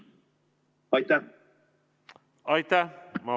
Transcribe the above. Aitäh!